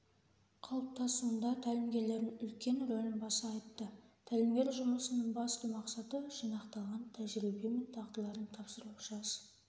қалыптасуында тәлімгерлердің үлкен рөлін баса айтты тәлімгер жұмысының басты мақсаты-жинақталған тәжірибе мен дағдыларын тапсыру жас